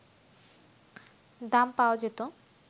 দাম পাওয়া যেত